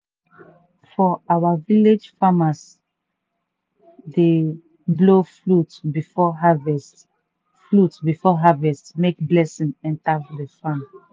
for our village farmers dey blow flute before harvest flute before harvest make blessing enter the farm.